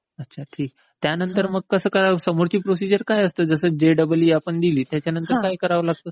अच्छा, ठीक आहे. त्यानंतर मग कसं काय समोरची प्रोसिजर काय असते? जसं जेईई आपण दिली त्याच्यानंतर काय करावे लागते?